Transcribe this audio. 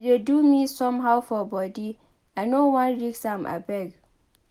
E dey do me somehow for body I know wan risk am abeg